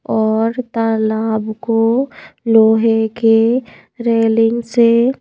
और तालाब को लोहे के रेलिंग से--